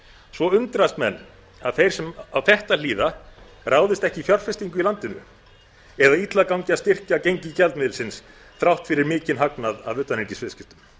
svo undrast menn að þeir sem á þetta hlýða ráðist ekki í fjárfestingu í landinu eða illa gangi að styrkja gengi gjaldmiðilsins þrátt fyrir mikinn hagnað af utanríkisviðskiptum